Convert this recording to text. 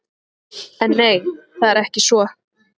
En nei, það er ekki svo.